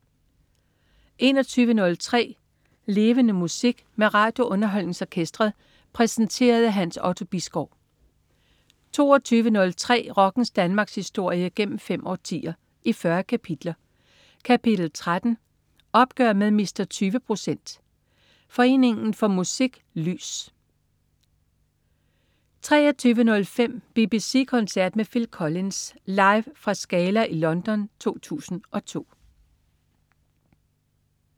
21.03 Levende Musik. Med RadioUnderholdningsOrkestret. Præsenteret af Hans Otto Bisgaard 22.03 Rockens Danmarkshistorie, gennem fem årtier, i 40 kapitler. Kapitel 13: Opgør med Mr. 20 procent. Foreningen for Musik og Lys 23.05 BBC koncert med Phil Collins. Live fra Scala i London 2002